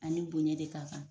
A ni bonya de ka kan